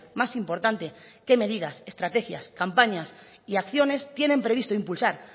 más importante qué medidas estrategias campañas y acciones tienen previsto impulsar